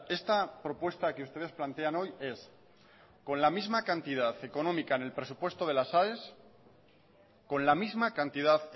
esta propuesta que ustedes plantean hoy es con la misma cantidad económica en el presupuesto de las aes con la misma cantidad